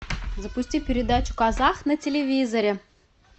запусти передачу казах на телевизоре